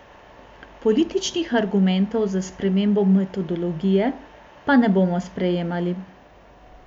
Političnih argumentov za spremembo metodologije pa ne bomo sprejemali.